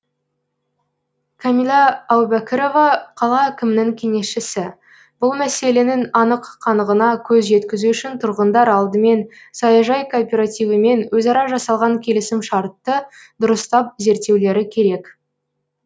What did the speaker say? кәмила әубәкірова қала әкімінің кеңесшісі бұл мәселенің анық қанығына көз жеткізу үшін тұрғындар алдымен саяжай кооперативімен өзара жасалған келісімшартты дұрыстап зерттеулері керек